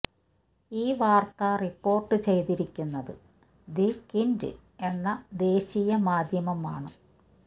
ഈ വാർത്ത റിപ്പോർട്ട് ചെയ്തിരിക്കുന്നത് ദി ക്വിൻറ് എന്ന ദേശീയ മാധ്യമം ആണ്